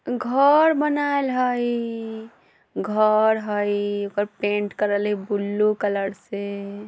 घर बनाएल हई घर हई एकर पेंट करल हय ब्लू कलर से।